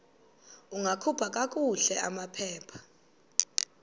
ungakhupha kakuhle amaphepha